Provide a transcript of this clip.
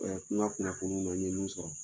kunna kunnafoniw na n ye minnu sɔrɔ.